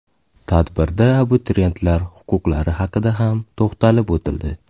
Tadbirda abituriyentlar huquqlari haqida ham to‘xtalib o‘tildi.